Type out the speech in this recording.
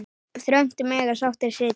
Þröngt mega sáttir sitja.